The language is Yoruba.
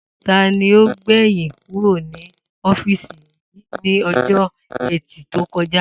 Ta ni ó gbè̩yìn kúrò ní ó̩fíìsì yìí ní o̩jó̩ E̩tì tó ko̩ja?